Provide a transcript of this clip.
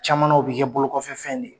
Camana u bɛ kɛ bolo kɔfɛ fɛn de ye!